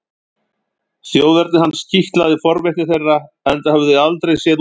Þjóðerni hans kitlaði forvitni þeirra enda höfðu þau aldrei séð útlending fyrr.